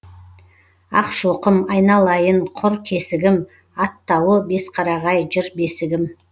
ақшоқым айналайын құр кесігім аттауы бесқарағай жыр бесігім